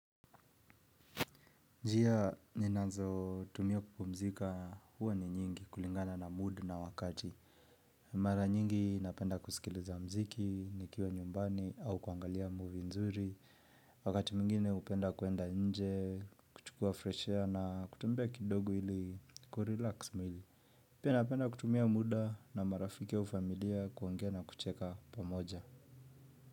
Njia, ninazotumia kupumzika huwa ni nyingi kulingana na mood na wakati. Mara nyingi napenda kusikiliza muziki, nikiwa nyumbani au kuangalia movie nzuri. Wakati mwingine hupenda kuenda nje, kuchukua fresh air na kutembea kidogo ili kurelax mwili. Pia napenda kutumia muda na marafiki au familia kuongea na kucheka pamoja.